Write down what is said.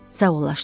Sağollaşdılar.